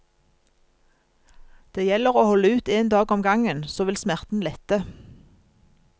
Det gjelder å holde ut en dag om gangen, så vil smerten lette.